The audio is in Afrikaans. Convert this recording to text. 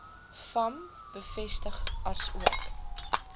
vam bevestig asook